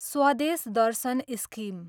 स्वदेश दर्शन स्किम